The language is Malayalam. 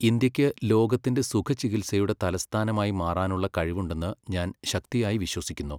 ഇന്ത്യയ്ക്ക് ലോകത്തിന്റെ സുഖചികിത്സയുടെ തലസ്ഥാനമായി മാറാനുള്ള കഴിവുണ്ടെന്ന് ഞാൻ ശക്തിയായി വിശ്വസിക്കുന്നു.